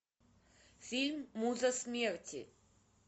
фильм муза смерти